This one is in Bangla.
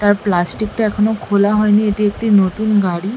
তার প্লাস্টিক -টা এখনো খোলা হয়নি এটি একটি নতুন গাড়ি ।